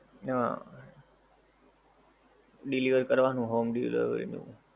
હં, deliver કરવાનું home delivery નું.